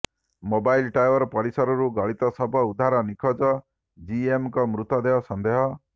mobile tower ପରିସରରୁ ଗଳିତ ଶବ ଉଦ୍ଧାର ନିଖୋଜ ଜି ଏମ ଙ୍କ ମୃତ ଦେହ ସଂଦେହ